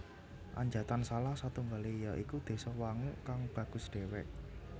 Anjatan salah satunggale ya iku désa Wanguk kang bagus dewek